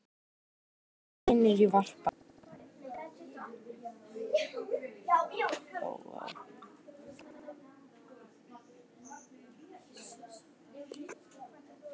Þar bíða vinir í varpa.